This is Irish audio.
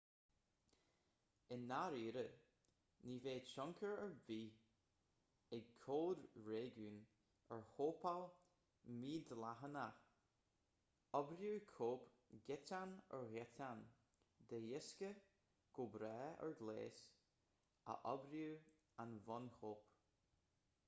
i ndáiríre ní bheidh tionchar ar bith ag cóid réigiúin ar chóipeáil mhídhleathach oibreoidh cóip giotán ar ghiotán de dhiosca go breá ar ghléas a oibreoidh an bhunchóip